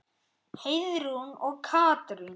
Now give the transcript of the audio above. Heiðrún og Katrín.